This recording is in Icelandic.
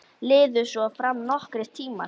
Liðu svo fram nokkrir tímar.